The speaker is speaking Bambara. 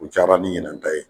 U caman mi ɲinan ta ye